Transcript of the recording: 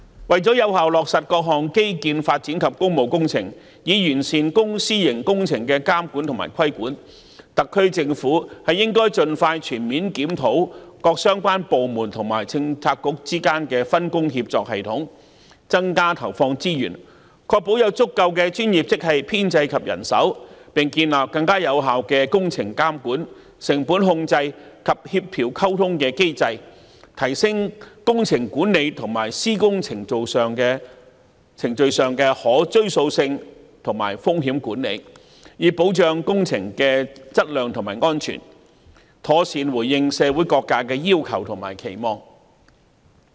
為了有效落實各項基建發展及工務工程，以完善公、私營工程的監管和規管，特區政府應該盡快全面檢討各相關部門和政策局之間的分工協作系統，增加投放資源，確保有足夠的專業職系編制及人手，並建立更有效的工程監管、成本控制及協調溝通的機制，提升工程管理和施工程序上的可追溯性和風險管理，以保障工程的質量及安全，妥善回應社會各界的要求和期望。